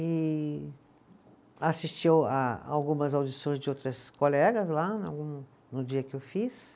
E assisti o a algumas audições de outras colegas lá, algum, no dia que eu fiz.